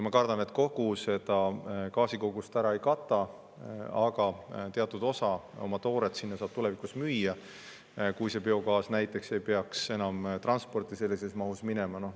Ma kardan, et kogu vajalikku gaasikogust ära ei kata, aga teatud osa oma tooret saab sinna tulevikus müüa, kui biogaas ei peaks enam transporti sellises mahus minema.